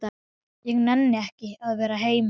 Ég nenni ekki að vera heima.